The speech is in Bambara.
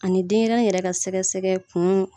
Ani denɲɛrɛnin yɛrɛ ka sɛgɛ-sɛgɛ kun.